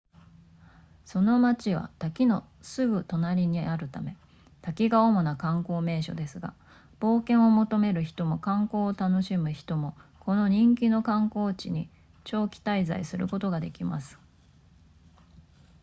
その町は滝のすぐ隣にあるため滝が主な観光名所ですが冒険を求める人も観光を楽しむ人もこの人気の観光地に長期滞在することができます